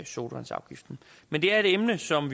sodavandsafgiften men det er et emne som